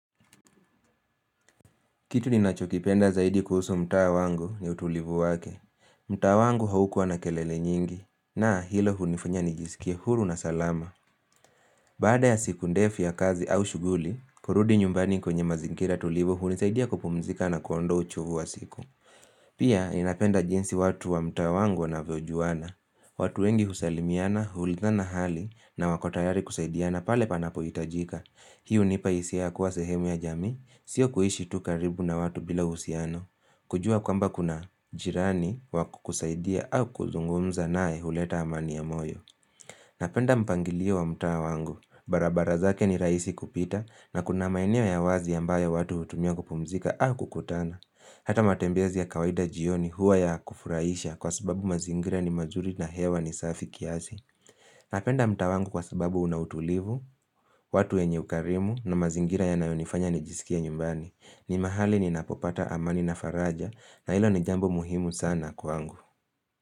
Kitu ni nachokipenda zaidi kuhusu mtaa wangu ni utulivu wake mtaa wangu haukua na kelele nyingi na hilo hunifanya nijisikie huru na salama Baada ya siku ndefu ya kazi au shughuli, kurudi nyumbani kwenye mazingira tulivu hunisaidia kupumzika na kuondoa uchovu wa siku. Pia ninapenda jinsi watu wa mtaa wangu wanavyojuana. Watu wengi husalimiana huulizana hali na wako tayari kusaidiana pale panapo hitajika. Hio hunipa hisia ya kuwa sehemu ya jamii, sio kuishi tu karibu na watu bila uhusiano. Kujua kwamba kuna jirani wa kukusaidia au kuzungumza naye huleta amani ya moyo. Napenda mpangilio wa mtaa wangu, barabara zake ni rahisi kupita na kuna maeneo ya wazi ambayo watu hutumia kupumzika au kukutana. Hata matembezi ya kawaida jioni huwa ya kufurahisha kwa sababu mazingira ni mazuri na hewa ni safi kiasi. Napenda mtaa wangu kwa sababu unautulivu, watu wenye ukarimu na mazingira yanayonifanya nijisikie nyumbani. Ni mahali ninapopata amani na faraja na hilo ni jambo muhimu sana kwangu.